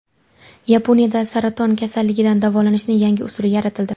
Yaponiyada saraton xastaligini davolashning yangi usuli yaratildi.